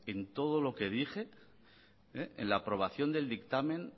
en todo lo que dije en la aprobación del dictamen